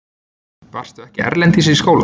Varstu ekki erlendis í skóla?